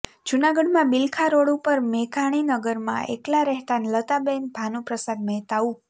જૂનાગઢમાં બીલખા રોડ ઉપર મેઘાણીનગરમાં એકલા રહેતા લતાબેન ભાનુપ્રસાદ મહેતા ઉ